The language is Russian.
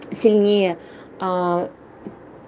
сильнее